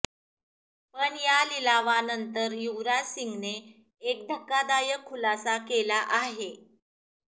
पण या लिलावानंतर युवराज सिंगने एक धक्कादायक खुलासा केला आहे